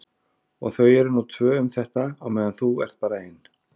Og þau eru nú tvö um þetta á meðan þú ert bara ein.